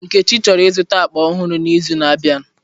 Nkechi chọrọ ịzụta akpa ọhụrụ n'izu na-abịa.